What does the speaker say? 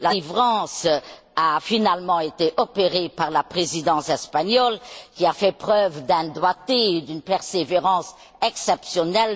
La délivrance a finalement été opérée par la Présidence espagnole qui a fait preuve d'un doigté et d'une persévérance exceptionnels.